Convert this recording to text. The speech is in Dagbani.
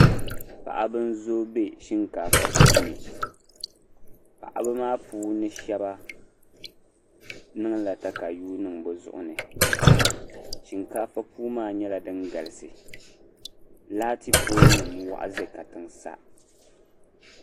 Paɣiba n-zooi be shinkaafa puuni paɣiba maa puuni shɛba niŋla takayua niŋ bɛ zuɣu ni shinkaafa puu maa nyɛla din galisi laati poolinima waɣa za katiŋa sa.